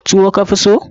Tuwo ka fi so?